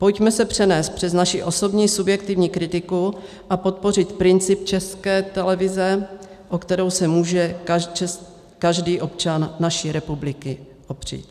Pojďme se přenést přes naši osobní subjektivní kritiku a podpořit princip České televize, o kterou se může každý občan naší republiky opřít.